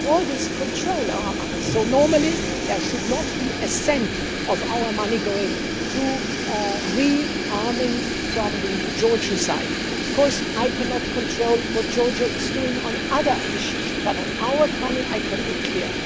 We always control our money, so normally there should not be a cent of our money going to re arming on the Georgian side. I cannot, of course, control what Georgia is doing on other issues, but on our money I can be clear.